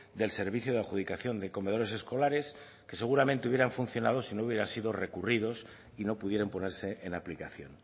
del servicio de adjudicación de comedores escolares que seguramente hubieran funcionado si no hubieran sido recurridos y no pudieran ponerse en aplicación